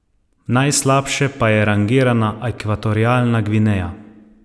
Najslabše pa je rangirana Ekvatorialna Gvineja.